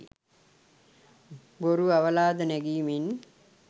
බොරු අවලාද නැගීමෙන්